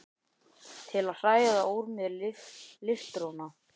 Til að hræða úr mér líftóruna?